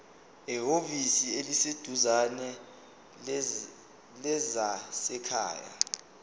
ehhovisi eliseduzane lezasekhaya